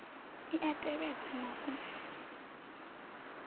i a tevhedzwa na u